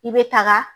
I bɛ taga